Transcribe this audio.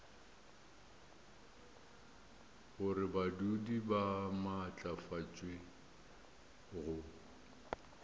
gore badudi ba maatlafatšwe go